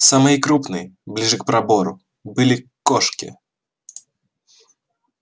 самые крупные ближе к пробору были кошки